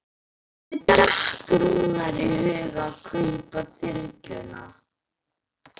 Hvernig datt Rúnari í hug að kaupa þyrluna?